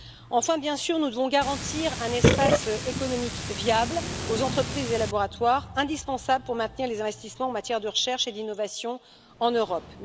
Enfin, bien sûr, nous devons garantir un espace économique viable aux entreprises et laboratoires, ce qui est indispensable pour maintenir les investissements en matière de recherche et d'innovation en Europe.